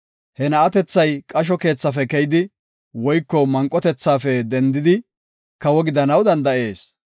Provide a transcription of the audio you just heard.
He na7atethay qasho keethafe keyidi woyko manqotethafe dendidi kawo gidanaw danda7ees.